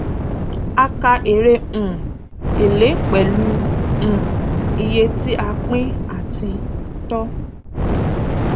a kà èrè um èlé pẹlú um iye tí a pín àti tọ